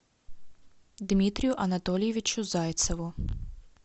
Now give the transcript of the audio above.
дмитрию анатольевичу зайцеву